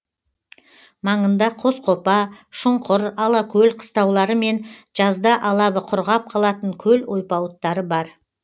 маңында қосқопа шұңқыр алакөл қыстаулары мен жазда алабы құрғап қалатын көл ойпауыттары бар